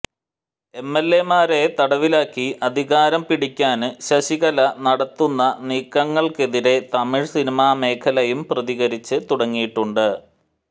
എംഎല്എമാരെ തടവിലാക്കി അധികാരം പിടിക്കാന് ശശികല നടത്തുന്ന നീക്കങ്ങള്ക്കെതിരെ തമിഴ് സിനിമാ മേഖലയും പ്രതികരിച്ച് തുടങ്ങിയട്ടുണ്ട്